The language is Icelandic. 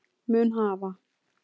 mun hafa